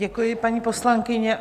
Děkuji, paní poslankyně.